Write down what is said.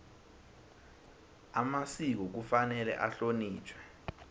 amasiko kufanele ahlonitjhwe